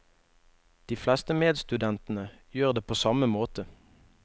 De fleste medstudentene gjør det på samme måte.